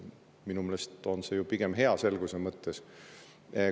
Minu meelest on see pigem hea, selguse mõttes.